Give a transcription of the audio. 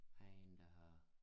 Der en der har